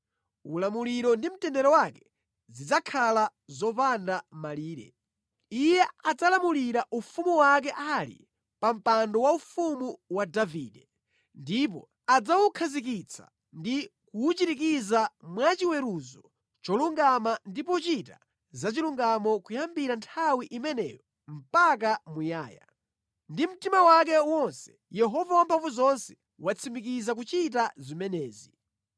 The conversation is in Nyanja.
Ulamuliro ndi mtendere wake zidzakhala zopanda malire. Iye adzalamulira ufumu wake ali pa mpando waufumu wa Davide, ndipo adzawukhazikitsa ndi kuwuchirikiza mwa chiweruzo cholungama ndi pochita zachilungamo kuyambira nthawi imeneyo mpaka muyaya. Ndi mtima wake wonse, Yehova Wamphamvuzonse watsimikiza kuchita zimenezi.